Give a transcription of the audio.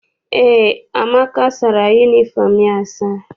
Eé, Amaka sara yunifọm ya asa.